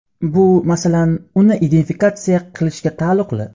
Bu, masalan, uni identifikatsiya qilishga taalluqli.